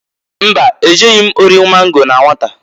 Mba! E jeghi m ori mango na nwata.